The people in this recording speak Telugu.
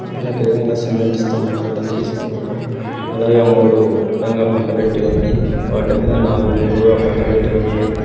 మనకి ఎదురుంగా సిమెంట్ స్తంభాలు కనిపిస్తూ ఉన్నాయి అలాగే మూడు అడ్డంగా పండబెట్టి ఉన్నాయి వాటి మీద నాలుగు నిలువ పండబెట్టి ఉన్నాయి.